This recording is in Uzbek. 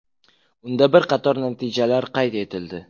Unda bir qator natijalar qayd etildi.